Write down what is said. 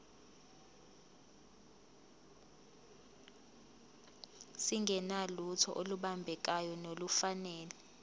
singenalutho olubambekayo nolufanele